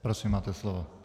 Prosím, máte slovo.